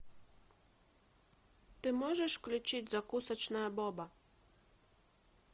ты можешь включить закусочная боба